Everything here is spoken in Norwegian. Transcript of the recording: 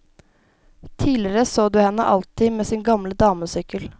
Tidligere så du henne alltid med sin gamle damesykkel.